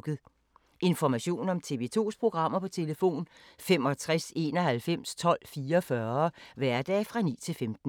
Information om TV 2's programmer: 65 91 12 44, hverdage 9-15.